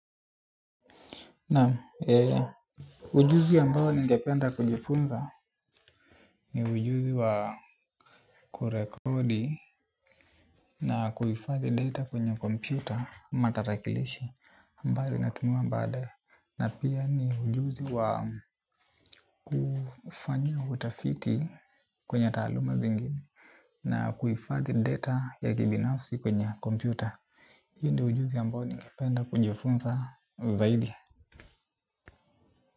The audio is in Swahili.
Naam ujuzi ambao ningependa kujifunza ni ujuzi wa kurekodi na kuifadhi data kwenye kompyuta matarakilishi ambayo inatumiwa badae na pia ni ujuzi wa kufanya utafiti kwenye taaluma zingine. Na kuhifadhi data ya kibinafsi kwenye kompyuta. Hii ndio ujuzi ambao ningependa kujifunza zaidi.